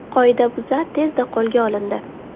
Qoidabuzar tezda qo‘lga olindi.